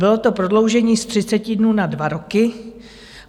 Bylo to prodloužení z 30 dnů na dva roky.